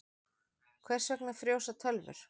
Hvers vegna frjósa tölvur?